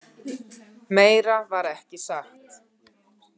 Meira var ekki sagt.